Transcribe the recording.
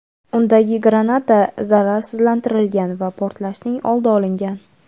undagi granata zararsizlantirilgan va portlashning oldi olingan.